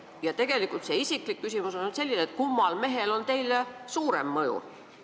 Ja tegelikult mul on ka isiklik küsimus: kummal mehel on teile suurem mõju?